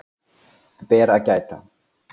Ber að geta